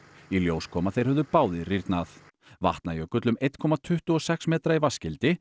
í ljós kom að þeir höfðu báðir rýrnað Vatnajökull um eitt komma tuttugu og sex metra í